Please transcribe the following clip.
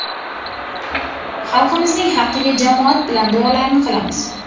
Xalqimizning haqqiga jamoat bilan duolarni qilamiz.